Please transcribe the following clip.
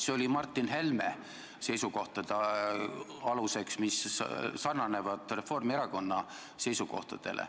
See oli Martin Helme seisukohtade aluseks, mis sarnanevad Reformierakonna seisukohtadega.